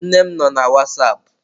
Nne m no na wasapụ.